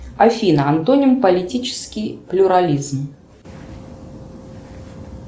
афина антоним политический плюрализм